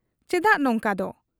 ᱪᱮᱫᱟᱜ ᱱᱚᱝᱠᱟᱫᱚ ?